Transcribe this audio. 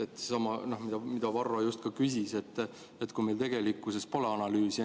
See on seesama, mille kohta ka Varro küsis, et meil tegelikkuses pole analüüsi.